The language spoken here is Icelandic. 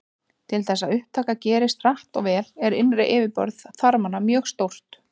Til þess að upptaka gerist hratt og vel er innra yfirborð þarmanna mjög stórt.